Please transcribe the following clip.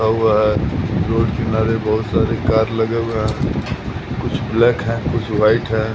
लगा हुआ है रोड किनारे बहोत सारे कार लगे हुए हैं कुछ ब्लैक है कुछ वाइट है।